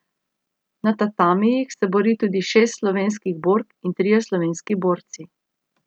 Na tatamijih se bori tudi šest slovenskih bork in trije slovenski borci.